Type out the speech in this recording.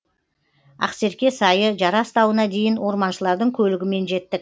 ақсерке сайы жарас тауына дейін орманшылардың көлігімен жеттік